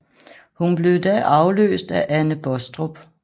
Hun blev da afløst af Anne Baastrup